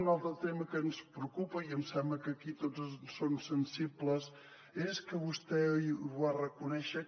un altre tema que ens preocupa i em sembla que aquí tots hi són sensibles és que vostè i ho va reconèixer